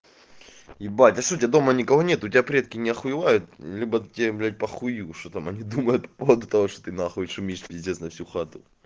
ебать а что у тебя дома никого нет у тебя предки не охуевает либо тебе блять похую что там они думают вот потому что ты на хуй шумишь на всю хату